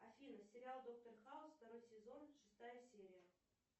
афина сериал доктор хаус второй сезон шестая серия